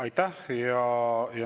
Aitäh!